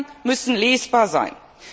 Angaben müssen lesbar sein.